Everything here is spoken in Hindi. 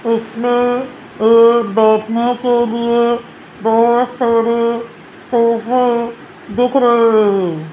इसमे एक बैठने के लिए बहोत सारे सोफे दिख रही है।